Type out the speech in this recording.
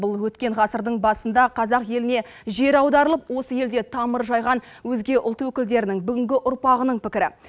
бұл өткен ғасырдың басында қазақ еліне жер аударылып осы елде тамыр жайған өзге ұлт өкілдерінің бүгінгі ұрпағының пікірі